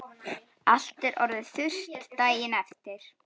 Allt orðið þurrt daginn eftir.